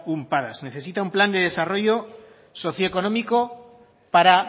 un padas necesita un plan de desarrollo socioeconómico para